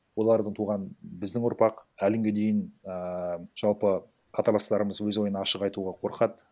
олардан туған біздің ұрпақ әлі күнге дейін ііі жалпы қатарластарымыз өз ойын ашық айтуға қорқады